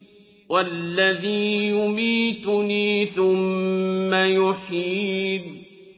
وَالَّذِي يُمِيتُنِي ثُمَّ يُحْيِينِ